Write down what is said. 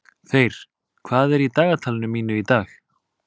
Þeyr, hvað er í dagatalinu mínu í dag?